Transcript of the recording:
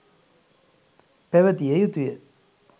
පැවතිය යුතුය.